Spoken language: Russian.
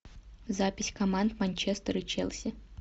запись команд манчестер и челси